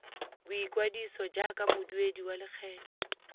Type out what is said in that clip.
boikwadiso jaaka moduedi wa lekgetho